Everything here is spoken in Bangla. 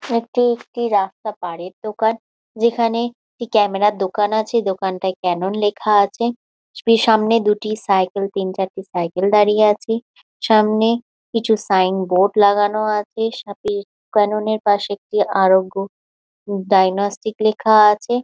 একটি একটি রাস্তা পারের দোকান যেখানে একটি ক্যামেরা র দোকান আছে দোকানটায় ক্যানন লেখা আছে সামনে দুটি সাইকেল তিন চারটি সাইকেল দাঁড়িয়ে আছে সামনে কিছু সাইন বোর্ড লাগানো আছে সাথে ক্যানন এর পাশে একটি আরোগ্য ডাইনস্টিক লেখা আছে।